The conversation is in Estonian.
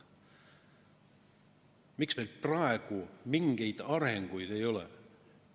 Miks meil praegu mingit arengut ei ole toimunud?